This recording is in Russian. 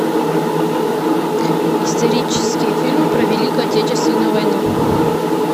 исторические фильмы про великую отечественную войну